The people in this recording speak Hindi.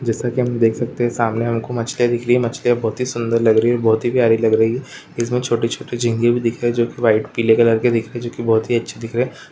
जेसा कि हम देख सकते है सामने हमको मछलियां दिख रही है मछलियां बहुत ही सुदर लग रही है और बहुत ही प्यारी लग रही है इसमे छोटी छोटी झींगे भी दिखाई जो कि वाईट पीले कलर की दिखाई जो की बहोत ही अच्छी दिख रे।